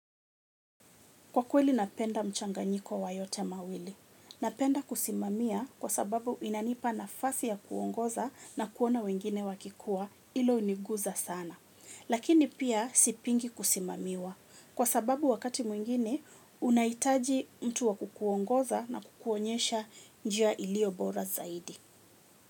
Kwa kweli napenda mchanganyiko wa yote mawili. Napenda kusimamia kwa sababu inanipa nafasi ya kuongoza na kuona wengine wakikua hilo huniguza sana. Lakini pia sipingi kusimamiwa. Kwa sababu wakati mwingine unahitaji mtu wa kukuongoza na kukuonyesha njia iliyo bora zaidi.